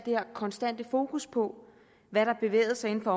her konstante fokus på hvad der bevægede sig inden